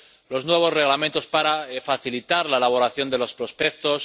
los nuevos Reglamentos para facilitar la elaboración de los prospectos